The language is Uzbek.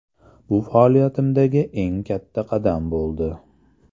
Bu faoliyatimdagi eng katta qadam bo‘ldi.